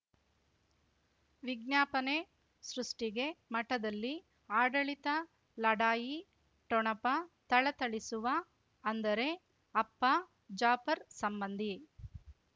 ವಿಜ್ಞಾಪನೆ ಸೃಷ್ಟಿಗೆ ಮಠದಲ್ಲಿ ಆಡಳಿತ ಲಢಾಯಿ ಠೊಣಪ ಥಳಥಳಿಸುವ ಅಂದರೆ ಅಪ್ಪ ಜಾಫರ್ ಸಂಬಂಧಿ